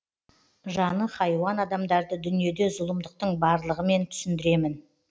жаны хайуан адамдарды дүниеде зұлымдықтың барлығымен түсіндіремін